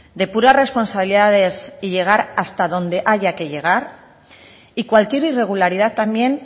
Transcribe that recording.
depurar responsabilidades y llegar hasta donde haya que llegar y cualquier irregularidad también